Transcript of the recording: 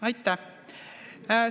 Aitäh!